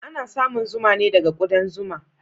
Ana samun zuma ne daga kudan zuma.